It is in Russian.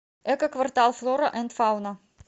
эко квартал флора энд фауна